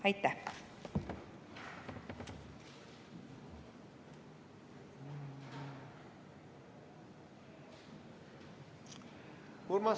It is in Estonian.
Aitäh!